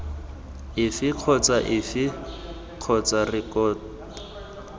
efe kgotsa efe kgotsa rekoto